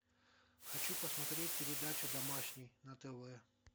хочу посмотреть передачу домашний на тв